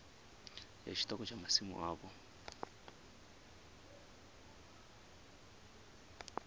ya tshiṱoko tsha masimu avho